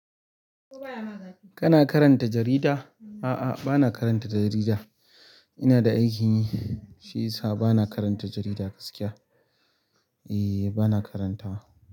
Kana karanta jarida? A'a, bana karanta jarida. Ina da aikin yi, shi yasa bana karanta jarida gaskiya. E, bana karantawa.